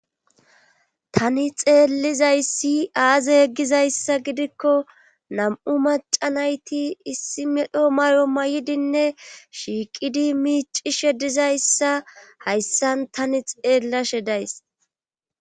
Tani xeellizayssi aaze yeggizayssa gidikko nam'u macanayti issi medho may'o may'idinne shiiqidi miici shedizayssa hayssan tani xeellashe days.